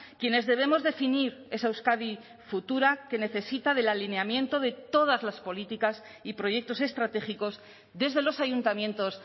quienes debemos definir esa euskadi futura que necesita del alineamiento de todas las políticas y proyectos estratégicos desde los ayuntamientos